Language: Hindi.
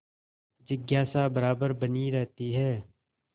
जिज्ञासा बराबर बनी रहती है